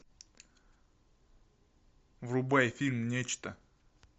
врубай фильм нечто